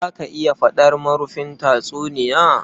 Za ka iya faɗar marufin tatsuniya?